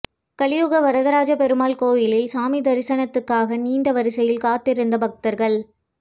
கலியுக வரதராசப் பெருமாள் கோயிலில் சாமி தரிசனத்துக்காக நீண்ட வரிசையில் காத்திருந்த பக்தா்கள்